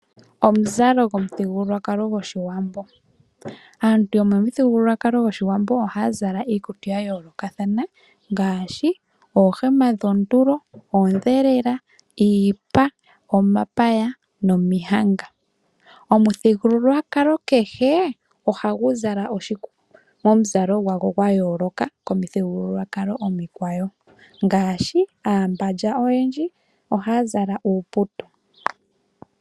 Omuzalo gomuthigululwakalo goshiwambo. Aantu yomo miithigululwakalo goshiwambo oha zala iimizalo dhayolokathana, ngaashi oohema dhoontulo, odhelela, iipa, omapaya nomihanga. Omuthigululwakalo kehe ohagu zala omuzalo gwago gayoloka komi thigululwakalo omikwawo ngaashi aambalya oha zala uuputu.